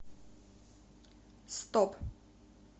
стоп